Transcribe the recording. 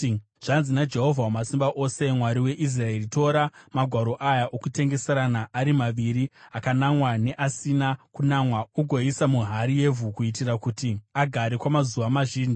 ‘Zvanzi naJehovha Wamasimba Ose, Mwari weIsraeri: Tora magwaro aya, okutengeserana ari maviri akanamwa neasina kunamwa, ugoisa muhari yevhu kuitira kuti agare kwamazuva mazhinji.